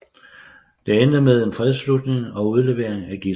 Den endte med en fredsafslutning og udleveringen af gidsler